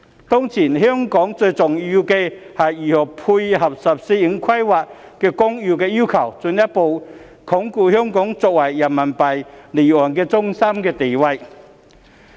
"當前香港最重要是如何配合《十四五規劃綱要》的要求，進一步鞏固香港作為人民幣離岸中心的地位。